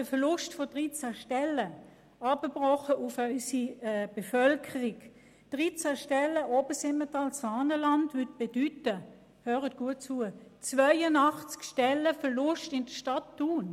Der Verlust von 13 Stellen entspricht auf unsere Bevölkerung heruntergebrochen 82 Stellen in der Stadt Thun.